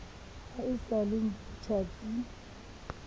ha e sa le tjhatsi